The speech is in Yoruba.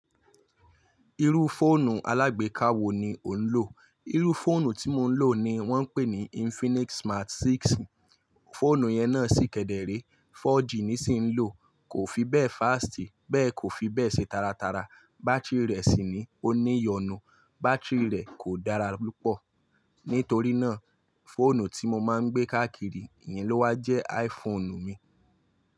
Irú fóònù alágbèéká wo ni o ń lò? Irú fóònù tí mo ń lò ni wọ́n ń pè ní Infinix Smart 6. Fóònù yẹn náà sì kẹ́dẹ́rẹ́, 4G ni sí ń lò, kò fi bẹ́ẹ̀ fásìtì, bẹ́ẹ̀ kò fi bẹ́ẹ̀ ṣe taratara. Báátìrì rẹ̀ sì ni ó ní ìyọnu, báátìrì rẹ̀ kò dára púpọ̀. Nítorí náà, fóònù tí mo má ń gbé káàkiri èyín lówá jẹ́ iPhone mi.